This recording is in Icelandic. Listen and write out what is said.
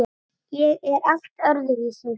Ég er allt öðruvísi.